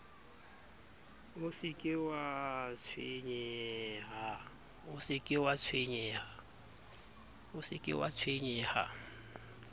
o se ke wa tshwenyeha